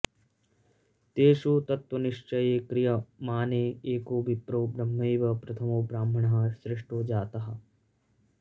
तेषु तत्त्वनिश्चये क्रियमाणे एको विप्रो ब्रह्मैव प्रथमो ब्राह्मणः सृष्टो जातः